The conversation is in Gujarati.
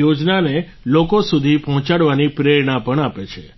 યોજનાને લોકો સુધી પહોંચાડવાની પ્રેરણા પણ આપે છે